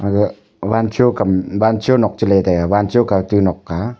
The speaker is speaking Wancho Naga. aga wancho kam wancho nok chileytaiga wancho kautu nok a.